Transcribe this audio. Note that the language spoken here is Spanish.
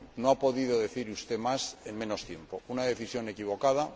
No ha podido decir usted más en menos tiempo una decisión equivocada